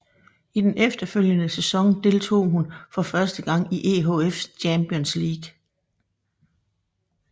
I den følgende sæson deltog hun for første gang i EHF Champions League